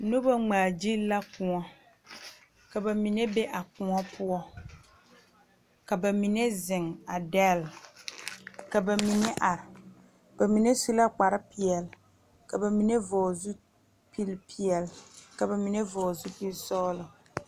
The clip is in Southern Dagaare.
Nobɔ ngmaagyile la kõɔ ka ba mine be a kõɔ poɔ ka ba mine zeŋ a dɛl ka ba mine are ba mine su la kparepeɛle ka ba mine vɔgle zupile peɛle ka ba mine vɔgle zupilsɔglɔ.